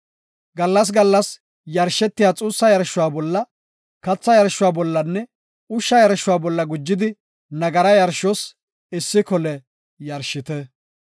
Gallas gallas yarshetiya xuussa yarshuwa bolla, katha yarshuwa bollanne ushsha yarshuwa bolla gujidi nagara yarshos issi kole yarshite.